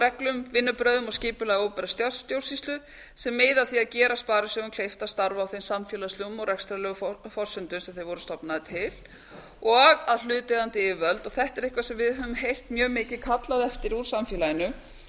reglum vinnubrögðum og skipulagi opinberrar stjórnsýslu sem miða að því að gera sparisjóðum kleift að starfa á þeim samfélagslegu og rekstrarlegu forsendum sem þeir voru stofnaðir um f gera ráðstafanir til þess að hlutaðeigandi yfirvöld og þetta er eitthvað sem við höfum heyrt mjög mikið kallað eftir úr samfélaginu